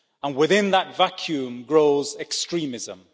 Within that vacuum grows extremism.